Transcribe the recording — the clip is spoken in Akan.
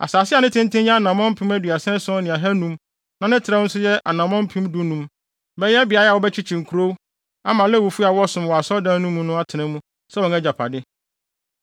Asase a ne tenten yɛ anammɔn mpem aduasa ason ne ahannum (37,500) na ne trɛw nso yɛ anammɔn mpem dunum (15,000) bɛyɛ beae a wɔbɛkyekye nkurow ama Lewifo a wɔsom wɔ asɔredan mu no atena mu sɛ wɔn agyapade.